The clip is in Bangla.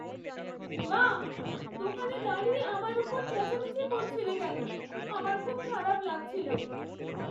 মা! দোকানে দাঁড়িয়ে আমার ওপর চেঁচামেচি করছিলে কেন? আমার খুব খারাপ লাগছিল।